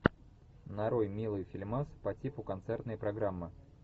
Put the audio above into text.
нарой милый фильмас по типу концертной программы